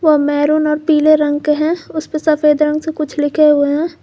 वो मरून और पीले रंग के हैं उसेपे सफेद रंग से कुछ लिखे हुए हैं।